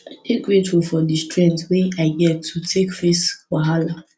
i dey grateful for di strength wey i get to take face wahala